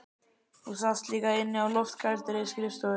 Þú sast líka inni á loftkældri skrifstofu